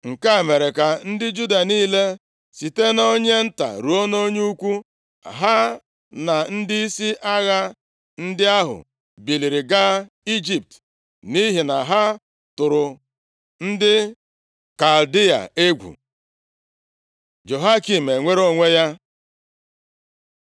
Nke a mere ka ndị Juda niile, site nʼonye nta ruo nʼonye ukwu, ha na ndịisi agha ndị ahụ biliri gaa Ijipt, nʼihi na ha tụrụ ndị Kaldịa egwu. Jehoiakin enwere onwe ya